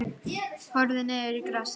Ég horfði niður í grasið.